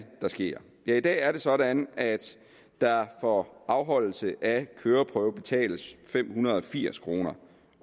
der sker ja i dag er det sådan at der for afholdelse af køreprøve betales fem hundrede og firs kroner